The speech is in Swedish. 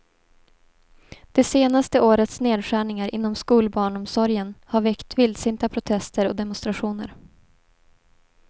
Det senaste årets nedskärningar inom skolbarnomsorgen har väckt vildsinta protester och demonstrationer.